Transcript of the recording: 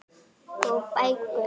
Og bækur.